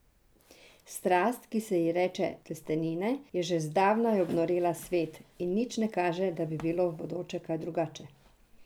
Strast, ki se ji reče testenine, je že zdavnaj obnorela svet, in nič ne kaže, da bi bilo v bodoče kaj drugače.